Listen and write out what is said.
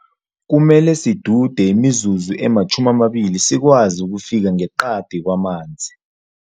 Kumele sidude imizuzu ema-20 sikwazi ukufika ngeqadi kwamanzi.